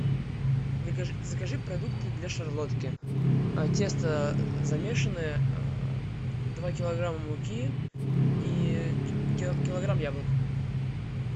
закажи продукты для шарлотки тесто замешанное два килограмма муки и килограмм яблок